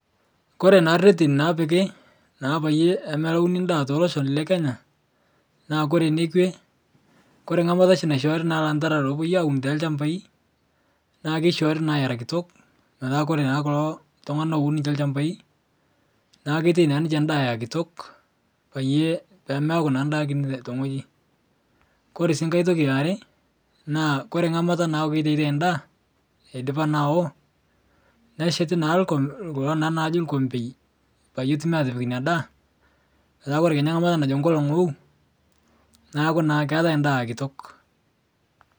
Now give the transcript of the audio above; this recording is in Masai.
Kore naa retin naapiki naa peyie melauni ndaa te losho lekenya, naa kore enekwe, kore engai mat oshi naishoori lantarara peyie epuoi aaun toolchambai, naa keishoori naake era kitok metaa kore naake kulo tung'ana loun ilchambai naa ketum naa ninche endaa era kitok pemeaku naa ndaa kini te wueji. Kore sii ngai toki eare, koree ngamata endaa idipa naa awo, nesheti naa ilkombei peyie etumoki aapik ina data, neaku kore najo nkolong' wou, neaku naa keetai ndaa kitok.